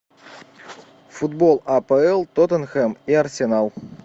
футбол апл тоттенхэм и арсенал